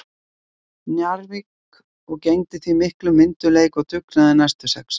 Njarðvík og gegndi því af miklum myndugleik og dugnaði næstu sex ár.